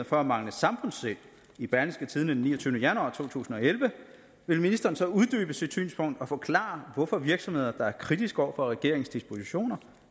for at mangle samfundssind i berlingske tidende den niogtyvende januar to tusind og elleve vil ministeren så uddybe sit synspunkt og forklare hvorfor virksomheder der er kritiske over for regeringens dispositioner